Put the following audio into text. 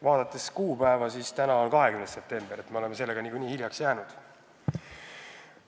Vaadates kuupäeva – täna on 20. september, nii et me oleme sellega niikuinii hiljaks jäänud.